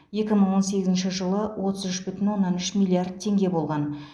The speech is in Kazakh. екі мың он сегізінші жылы отыз үш бүтін оннан үш миллиард теңге болған